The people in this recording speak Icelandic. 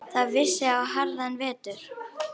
Það vissi á harðan vetur.